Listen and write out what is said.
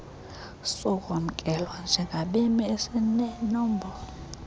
sokwamkelwa njengabemi esinenombolo